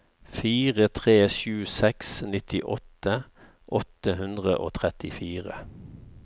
fire tre sju seks nittiåtte åtte hundre og trettifire